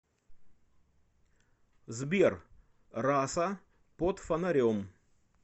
сбер раса под фонарем